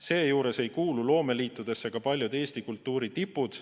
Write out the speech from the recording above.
Seejuures ei kuulu loomeliitudesse paljud Eesti kultuuritipud.